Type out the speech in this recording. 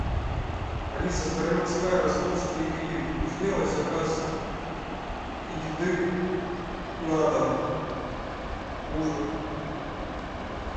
алиса староминская ростовский гриль сделай заказ еды на дом ужин